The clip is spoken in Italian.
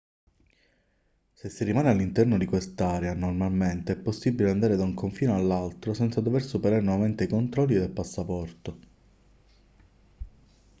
se si rimane all'interno di quest'area normalmente è possibile andare da un confine all'altro senza dover superare nuovamente i controlli del passaporto